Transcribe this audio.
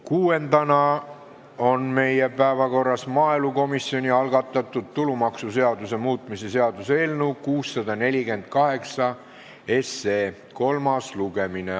Kuuendana on meie päevakorras maaelukomisjoni algatatud tulumaksuseaduse muutmise seaduse eelnõu 648 kolmas lugemine.